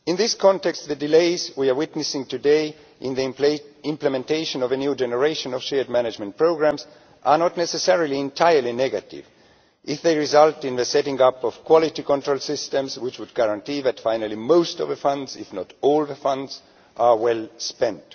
In this context, the delays we are witnessing today in the implementation of a new generation of shared management programmes are not necessarily entirely negative if they result in the setting up of quality control systems which would guarantee that finally most of the funds, if not all the funds, are well spent.